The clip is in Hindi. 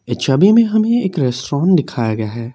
छवि में हमें एक रेस्टोरेंट दिखाया गया है।